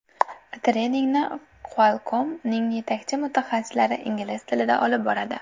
Treningni Qualcomm’ning yetakchi mutaxassislari ingliz tilida olib boradi.